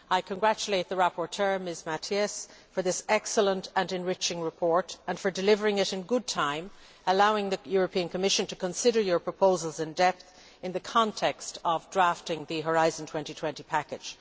I congratulate the rapporteur, Ms Matias, for this excellent and enriching report and for delivering it in good time, allowing the Commission to consider your proposals in depth in the context of drafting the Horizon 2020 package.